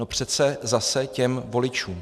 No přece zase těm voličům.